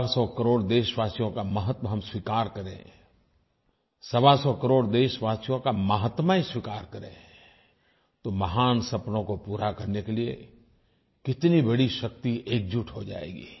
सवासौ करोड़ देशवासियों का महत्व हम स्वीकार करें सवासौ करोड़ देशवासियों का माहात्म्य स्वीकार करें तो महान सपनों को पूरा करने के लिये कितनी बड़ी शक्ति एकजुट हो जाएगी